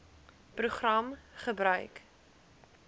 program gebruik